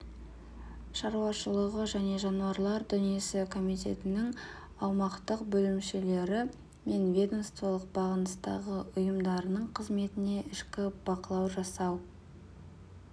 шаруашылығы және жануарлар дүниесі комитетінің аумақтық бөлімшелері мен ведомстволық бағыныстағы ұйымдарының қызметіне ішкі бақылау жасау